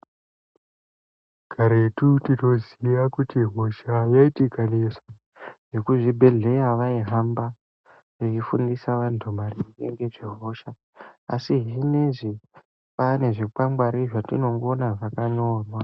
Karetu tinoziya kuti hosha yaiti ikanesa vekuzvibhedhlera vaihamba veifundisa vantu maringe nezve hosha. Asi zvineizvi pane zvikwangwari zvetinongoona zvakanyorwa.